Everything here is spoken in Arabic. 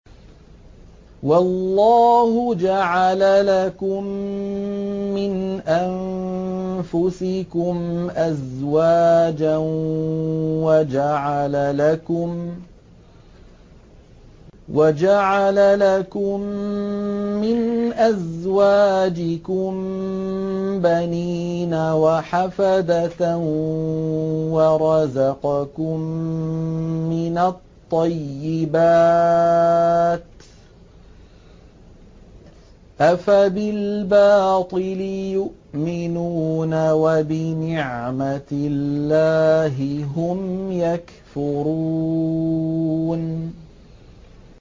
وَاللَّهُ جَعَلَ لَكُم مِّنْ أَنفُسِكُمْ أَزْوَاجًا وَجَعَلَ لَكُم مِّنْ أَزْوَاجِكُم بَنِينَ وَحَفَدَةً وَرَزَقَكُم مِّنَ الطَّيِّبَاتِ ۚ أَفَبِالْبَاطِلِ يُؤْمِنُونَ وَبِنِعْمَتِ اللَّهِ هُمْ يَكْفُرُونَ